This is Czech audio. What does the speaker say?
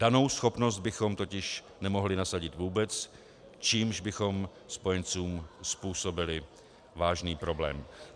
Danou schopnost bychom totiž nemohli nasadit vůbec, čímž bychom spojencům způsobili vážný problém.